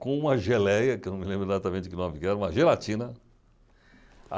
com uma geleia, que eu não me lembro exatamente que nome que era, uma gelatina.